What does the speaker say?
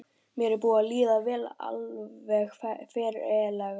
Mér er búið að líða alveg ferlega.